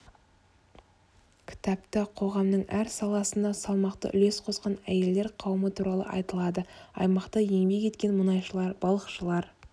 кітапта қоғамның әр саласында салмақты үлес қосқан әйелдер қауымы туралы айтылады аймақта еңбек еткен мұнайшылар балықшылар